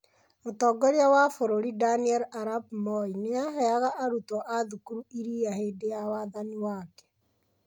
Mũtongoria wa bũrũri Daniel Arap Moi nĩ aheaga arutwo a thukuru iria hĩndĩ ya wathani wake